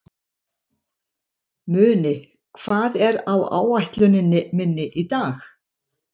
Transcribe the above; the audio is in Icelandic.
Muni, hvað er á áætluninni minni í dag?